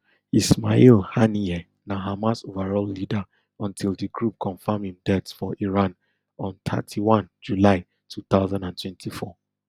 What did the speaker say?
ismail haniyeh na hamas overall leader until di group confam im death for iran on thirty-one july two thousand and twenty-four